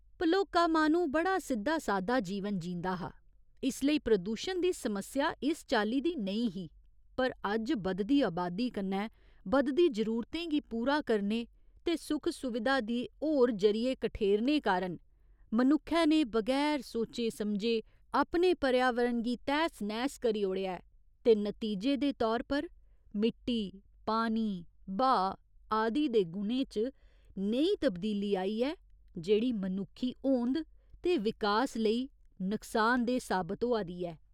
भलोका माह्‌नू बड़ा सिद्धा सादा जीवन जींदा हा इस लेई प्रदूशण दी समस्या इस चाल्ली दी नेईं ही पर अज्ज बधदी अबादी कन्नै बधदी जरूरतें गी पूरा करने ते सुख सुविधा दे होर जरिये कठेरने कारण मनुक्खै ने बगैर सोचे समझे अपने पर्यावरण गी तैह्स नैह्स करी ओड़ेआ ऐ ते नतीजे दे तौर पर मिट्टी, पानी, ब्हाऽ आदि दे गुणें च नेही तब्दीली आई ऐ जेह्ड़ी मनुक्खी होंद ते विकास लेई नक्सानदेह् साबत होआ दी ऐ।